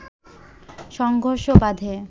সংঘর্ষ বাধে